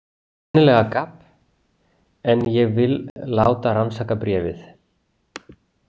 Sennilega gabb en ég vil láta rannsaka bréfið.